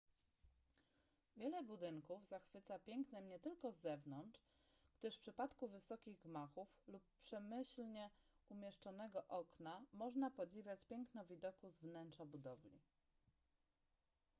wiele budynków zachwyca pięknem nie tylko z zewnątrz gdyż w przypadku wysokich gmachów lub przemyślnie umieszczonego okna można podziwiać piękno widoku z wnętrza budowli